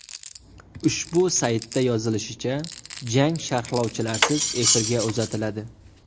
Ushbu saytda yozilishicha, jang sharlovchilarsiz efirga uzatiladi.